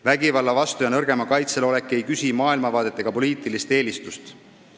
Vägivalla vastu ja nõrgema kaitsel olemine ei küsi maailmavaadet ega poliitilist eelistust.